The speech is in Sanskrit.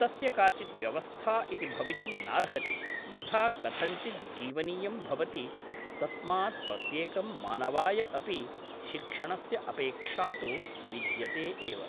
तस्य काचित् व्यवस्था इति भवितुं नार्हति यथा कथञ्चित् जीवनीयं भवति तस्मात् प्रत्येकं मानवाय अपि शिक्षणस्य अपेक्षा तु विद्यते एव